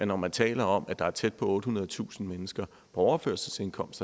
når man taler om at der er tæt på ottehundredetusind mennesker på overførselsindkomst